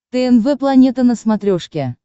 тнв планета на смотрешке